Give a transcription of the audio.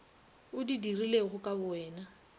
o di dirilego ka bowena